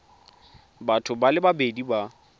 batho ba le babedi ba